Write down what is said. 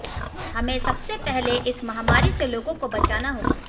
हमें सबसे पहले इस महामारी से लोगों को बचाना होगा